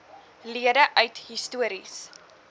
lede uit histories